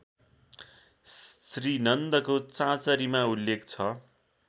श्रीनन्दको चाँचरीमा उल्लेख छ